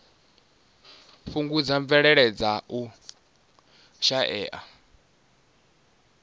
fhungudza mvelele dza u shaea